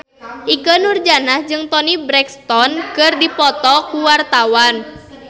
Ikke Nurjanah jeung Toni Brexton keur dipoto ku wartawan